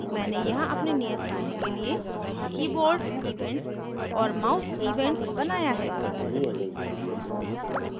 मैंने यहाँ अपने नियतकार्य के लिए keyboardevents और mouse events बनाया है